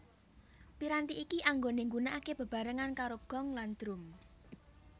Piranti iki anggone nggunakake bebarengan karo gong lan drum